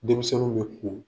Denmisɛnw bɛ ko